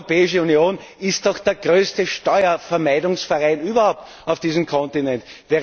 Die Europäische Union ist doch der größte Steuervermeidungsverein überhaupt auf diesem Kontinent!